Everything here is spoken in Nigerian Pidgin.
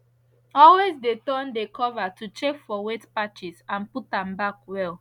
always de turn de cover to check for wet patches and put am back well